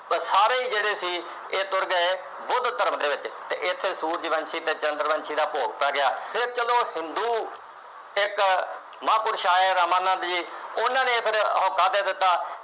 ਬਸ ਸਾਰੇ ਜਿਹੜੇ ਸੀ ਇਹ ਤੁਰ ਗਏ ਬੁੱਧ ਧਰਮ ਦੇ ਵਿੱਚ ਅਤੇ ਇੱਥੇ ਸੂਰਜਵੰਸ਼ੀ ਅਤੇ ਚੰਦਰਵੰਸ਼ੀ ਦਾ ਭੋਗ ਪੈ ਗਿਆ, ਫੇਰ ਚੱਲੋ ਹਿੰਦੂ ਇੱਕ ਮਹਾਂਪੁਰਸ਼ ਆਏ ਰਾਮਾਨੰਦ ਜੀ ਉਹਨਾ ਨੇ ਫੇਰ ਹੋਕਾ ਦੇ ਦਿੱਤਾ।